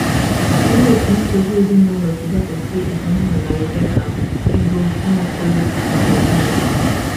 Olee otú nsogbu ezinụlọ si dakwasị Izunna na Rebeka, Ego, Nwaokolo, na Hosea?